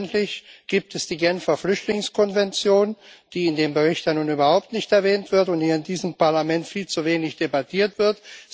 Selbstverständlich gibt es die Genfer Flüchtlingskonvention, die in dem Bericht ja nun überhaupt nicht erwähnt wird und hier in diesem Parlament viel zu wenig debattiert wird.